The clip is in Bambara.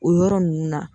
O yɔrɔ ninnu na